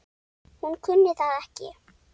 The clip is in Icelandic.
Hún kunni það ekki.